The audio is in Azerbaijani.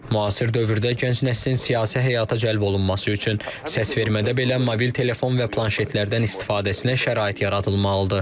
Müasir dövrdə gənc nəslin siyasi həyata cəlb olunması üçün səsvermədə belə mobil telefon və planşetlərdən istifadəsinə şərait yaradılmalıdır.